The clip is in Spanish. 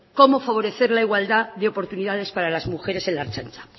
cómo favorecer la igualdad de oportunidades para las mujeres en la ertzaintza